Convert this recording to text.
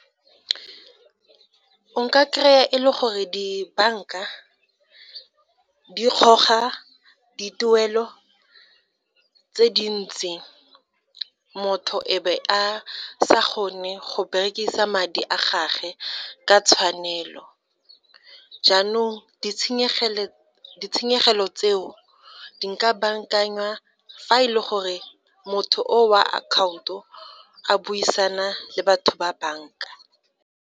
O kry-a e le gore dibanka di dituelo tse dintsi motho e be a sa kgone go berekisa madi a gagwe ka tshwanelo, jaanong ditshenyegelo tseo di ka bankangwa fa e le gore motho o wa akhaonto a buisana le batho ba banka.